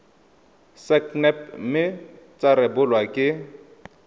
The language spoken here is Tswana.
sacnap mme tsa rebolwa ke